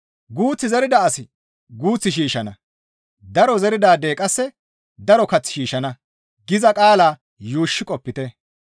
«Guuth zerida asi guuth shiishshana; daro zeridaadey qasse daro kath shiishshana» giza qaalaa yuushshi qopite.